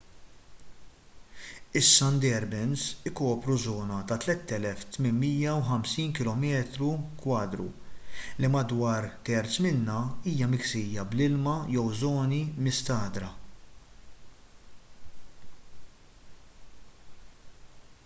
is-sundarbans ikopru żona ta' 3,850 km² li madwar terz minnha hija miksija bl-ilma/żoni mistagħdra